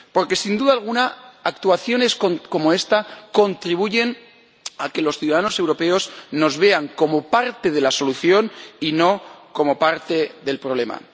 Porque, sin duda alguna, actuaciones como esta contribuyen a que los ciudadanos europeos nos vean como parte de la solución y no como parte del problema.